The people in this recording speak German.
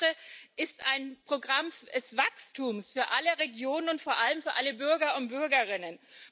Denn der EFRE ist ein Programm des Wachstums für alle Regionen und vor allem für alle Bürger und Bürgerinnen.